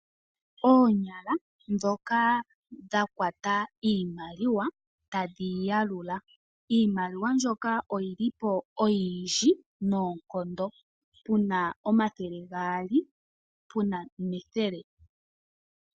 Oonyala dhoka dha kwata iimaliwa tadhi yiya lula. Iimaliwa ndyoka oyi lipo oyindji noonkondo puna omathele gaali, puna nethele.